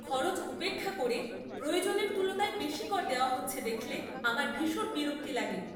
খরচ উপেক্ষা করে প্রয়োজনের তুলনায় বেশি কর দেওয়া হচ্ছে দেখলে আমার ভীষণ বিরক্তি লাগে।